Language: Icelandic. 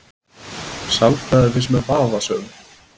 Sálfræði finnst mér vafasöm